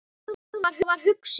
Hún þagði og var hugsi.